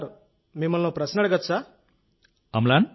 నాదో ప్రశ్న ఉంది సార్